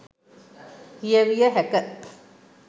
කියවිය හැක